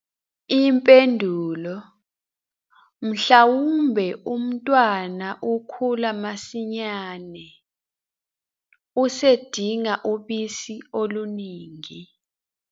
Impendulo- Mhlawumbe umntwana ukhula masinyane, usedinga ubisi oluningi.